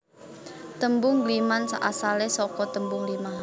Tembung ngliman asale saka tembung lima